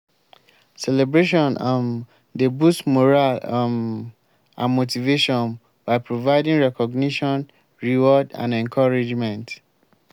celebration um dey boost morale um and motivation by providing recognition reward and encouragement.